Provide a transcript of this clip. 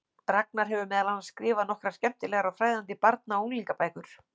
Ragnar hefur meðal annars skrifað nokkrar skemmtilegar og fræðandi barna- og unglingabækur.